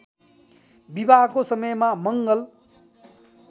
विवाहको समयमा मङ्गल